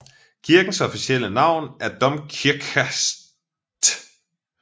Kirkens officielle navn er Domkirche St